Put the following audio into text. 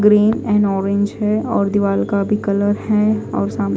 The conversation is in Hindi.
ग्रीन और ऑरेंज है और दीवार का भी कलर है और सामने--